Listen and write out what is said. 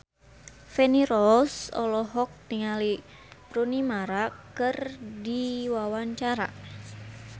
Feni Rose olohok ningali Rooney Mara keur diwawancara